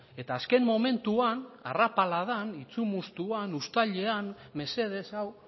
eta azken momentuan arrapaladan itsumustuan uztailean mesedez hau